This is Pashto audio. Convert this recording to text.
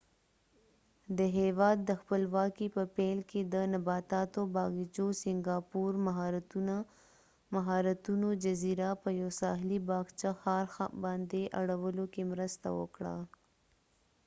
د هیواد د خپلواکې په پیل کې ،د سنګاپورsingapore د نباتاتو باغچو مهارتونو جزیره په یو ساحلی باغچه ښار باندي اړولو کې مرسته وکړه